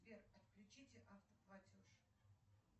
сбер отключите автоплатеж